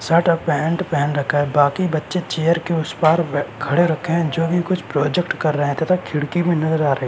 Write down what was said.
Shirt और pant पहन रखा है। बाकी बच्चे चेयर के उस पार बे खड़े रखे हैं जोकि कुछ प्रोजेक्ट कर रहे हैं तथा खिड़की भी नज़र आ रही--